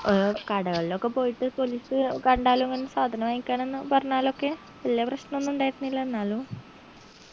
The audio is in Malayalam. ഏർ കടകൾ ഒക്കെ പോയിട്ട് police കണ്ടാലു ഇങ്ങനെ സാധനം വാങ്ങിക്കാനിന്ന് പറഞ്ഞാലൊക്കെ വെല്യ പ്രശ്നോന്നുണ്ടായിരുന്നില്ല എന്നാലു